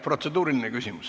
Protseduuriline küsimus.